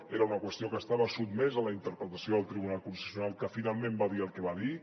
era una qüestió que estava sotmesa a la interpretació del tribunal constitucional que finalment va dir el que va dir